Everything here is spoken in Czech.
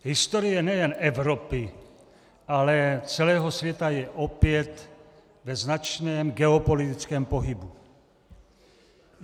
Historie nejen Evropy, ale celého světa je opět ve značném geopolitickém pohybu.